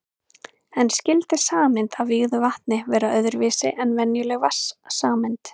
En skyldi sameind af vígðu vatn vera öðru vísi en venjuleg vatnssameind?